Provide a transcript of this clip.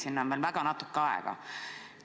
Sinna on veel väga vähe aega.